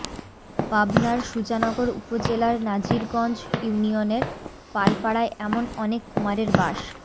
পাবনার সুজানগর উপজেলার নাজিরগঞ্জ ইউনিয়নের পালপাড়ায় এমন অনেক কুমারের বাস